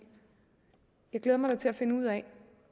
glæder mig da til at finde ud af